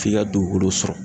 F'i ka dugukolo sɔrɔ.